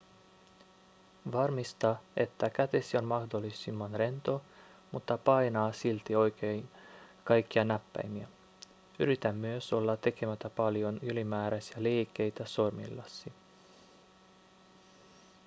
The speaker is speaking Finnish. varmista että kätesi on mahdollisimman rento mutta painaa silti oikein kaikkia näppäimiä yritä myös olla tekemättä paljon ylimääräisiä liikkeitä sormillasi